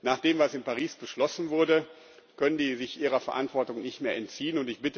Nach dem, was in Paris beschlossen wurde, können sie sich ihrer Verantwortung nicht mehr entziehen.